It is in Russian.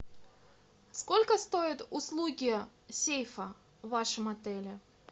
сколько стоят услуги сейфа в вашем отеле